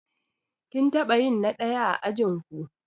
Kin taɓa yin na ɗaya a ajinku?